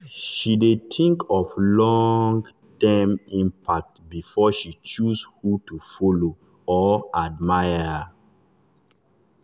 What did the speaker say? she dey think of long-term impact before she choose who to follow or admire.